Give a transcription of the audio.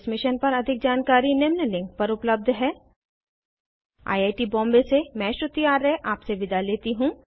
इस मिशन पर अधिक जानकारी निम्न लिंक पर उपलब्ध है httpspoken tutorialorgNMEICT Intro I I T Bombay से मैं श्रुति आर्य आपसे विदा लेती हूँ